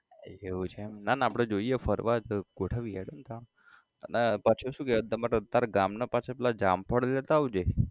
એવું છે એમ ના ના આપડે જોઈએ ફરવા તો ગોઠવીએ હેડો ને તાણ અને પાછુ શુ કહેતો તો તારા ગામના પાછા જામફળ લેતો આવજે